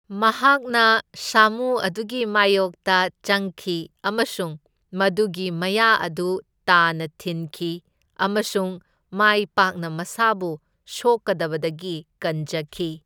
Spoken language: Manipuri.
ꯃꯍꯥꯛꯅ ꯁꯥꯃꯨ ꯑꯗꯨꯒꯤ ꯃꯥꯢꯌꯣꯛꯇ ꯆꯪꯈꯤ ꯑꯃꯁꯨꯡ ꯃꯗꯨꯒꯤ ꯃꯌꯥ ꯑꯗꯨ ꯇꯥꯅ ꯊꯤꯟꯈꯤ, ꯑꯃꯁꯨꯡ ꯃꯥꯢꯄꯥꯛꯅ ꯃꯁꯥꯕꯨ ꯁꯣꯛꯀꯗꯕꯗꯒꯤ ꯀꯟꯖꯈꯤ꯫